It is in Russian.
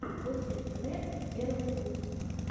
костиктв первый выпуск